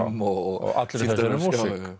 og allri þessari músík